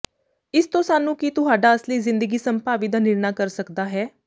ਇਸ ਤੋ ਸਾਨੂੰ ਕੀ ਤੁਹਾਡਾ ਅਸਲੀ ਜ਼ਿੰਦਗੀ ਸੰਭਾਵੀ ਦਾ ਨਿਰਣਾ ਕਰ ਸਕਦਾ ਹੈ